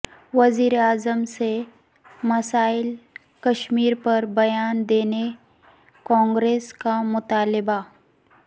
وزیراعظم سے مسئلہ کشمیر پر بیان دینے کانگریس کا مطالبہ